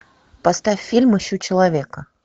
поставь фильм ищу человека